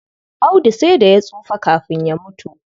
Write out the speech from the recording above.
Audu sai da ya tsufa kafin ya mutu.